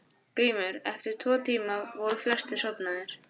GRÍMUR: Eftir tvo tíma voru flestir sofnaðir.